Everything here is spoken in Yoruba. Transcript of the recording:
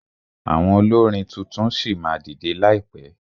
Àwọn olórin tuntun ṣì máa dìdẹ láìpẹ.